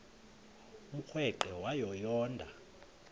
umrweqe wayo yoonda